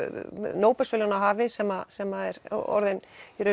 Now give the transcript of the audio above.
Nóbelsverðlaunahafi sem sem er orðinn